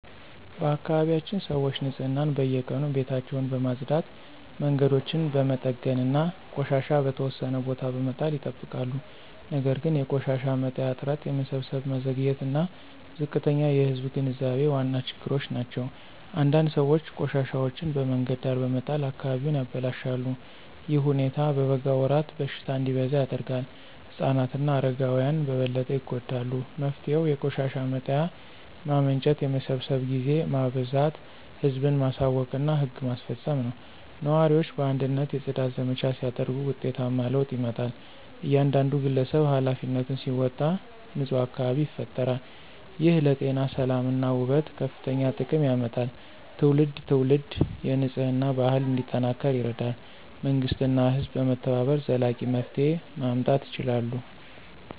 በአካባቢያችን ሰዎች ንፅህናን በየቀኑ ቤታቸውን በመጽዳት መንገዶችን በመጠገን እና ቆሻሻ በተወሰነ ቦታ በመጣል ይጠብቃሉ። ነገር ግን የቆሻሻ መጣያ እጥረት የመሰብሰብ መዘግየት እና ዝቅተኛ የህዝብ ግንዛቤ ዋና ችግሮች ናቸው። አንዳንድ ሰዎች ቆሻሻቸውን በመንገድ ዳር በመጣል አካባቢውን ያበላሻሉ። ይህ ሁኔታ በበጋ ወራት በሽታ እንዲበዛ ያደርጋል ህፃናት እና አረጋውያን በበለጠ ይጎዳሉ። መፍትሄው የቆሻሻ መጣያ ማመንጨት የመሰብሰብ ጊዜ ማበዛት ህዝብን ማሳወቅ እና ህግ ማስፈጸም ነው። ነዋሪዎች በአንድነት የጽዳት ዘመቻ ሲያደርጉ ውጤታማ ለውጥ ይመጣል። እያንዳንዱ ግለሰብ ኃላፊነቱን ሲወጣ ንፁህ አካባቢ ይፈጠራል። ይህ ለጤና ሰላም እና ውበት ከፍተኛ ጥቅም ያመጣል ትውልድ ትውልድ የንፅህና ባህል እንዲጠናከር ይረዳል። መንግሥት እና ህዝብ በመተባበር ዘላቂ መፍትሄ ማምጣት ይችላሉ።